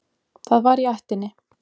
Það var í ættinni.